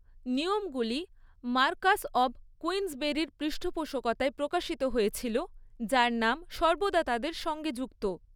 নিয়মগুলি Marquess of কুইন্সবেরির পৃষ্ঠপোষকতায় প্রকাশিত হয়েছিল, যার নাম সর্বদা তাদের সঙ্গে যুক্ত।